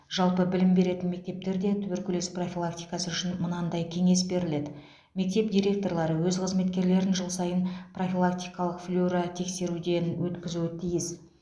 жалпы білім беретін мектептерде туберкулез профилактикасы үшін мынадай кеңес беріледі мектеп директорлары өз қызметкерлерін жыл сайын профилактикалық флюоротексеруден өткізуі тиіс